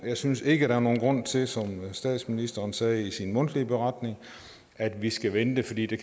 jeg synes ikke der er nogen grund til som statsministeren sagde i sin mundtlige beretning at vi skal vente fordi det